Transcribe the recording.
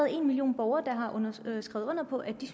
en million borgere der har skrevet under på at de